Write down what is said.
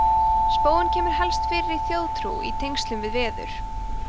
spóinn kemur helst fyrir í þjóðtrú í tengslum við veður